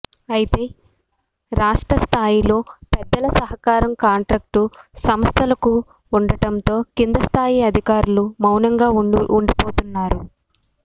అయితే రాష్టస్థ్రాయిలో పెద్దల సహకారం కాంట్రాక్టు సంస్థలకు ఉండటంతో కిందిస్థాయి అధికారులు వౌనంగా ఉండిపోతున్నారు